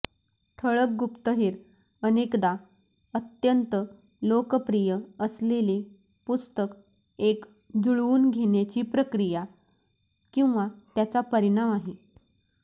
ठळक गुप्तहेर अनेकदा अत्यंत लोकप्रिय असलेले पुस्तक एक जूळवून घेण्याची प्रक्रिया किंवा त्याचा परिणाम आहे